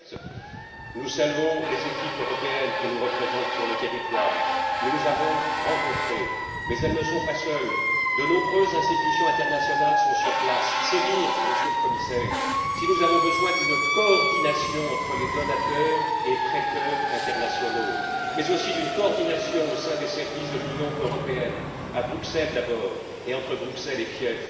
Certes, nous saluons les équipes européennes qui nous représentent sur le territoire. Nous les avons rencontrées mais elles ne sont pas seules de nombreuses institutions internationales sont sur place. C'est dire, Monsieur le Commissaire, si nous avons besoin d'une coordination entre les donateurs et prêteurs internationaux, mais aussi d'une coordination au sein des services de l'Union européenne, à Bruxelles, d'abord, et entre Bruxelles et Kiev.